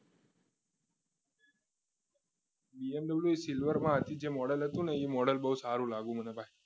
BMW silver જે model હતું ને એ model બહુ સારો લાગ્યો મને ભાઈ